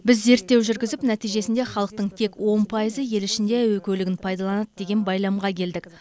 біз зерттеу жүргізіп нәтижесінде халықтың тек он пайызы ел ішінде әуе көлігін пайдаланады деген байламға келдік